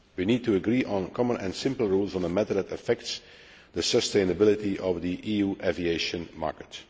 We need to agree on common and simple rules on a matter that affects the sustainability of the EU aviation market.